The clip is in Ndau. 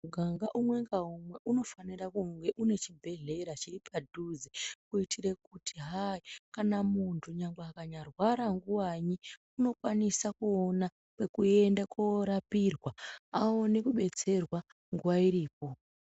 Mukanga umwe ngaumwe unofanira kunge une chibhehlera chiri padhuze kuitire kuti kana munhu kunyange akarwara nguvai unokwanise kuone kwekuende kunorapirwa aone kubetserwa nguva iripo.